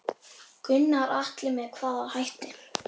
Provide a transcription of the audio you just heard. Gunnar Atli: Með hvaða hætti?